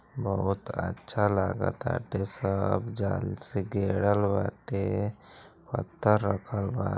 बहुत अच्छा लागताटे। सब जाल से घेरल बाटे। पत्थर रखल बा।